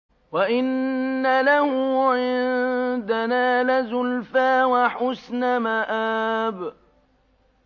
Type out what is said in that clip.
وَإِنَّ لَهُ عِندَنَا لَزُلْفَىٰ وَحُسْنَ مَآبٍ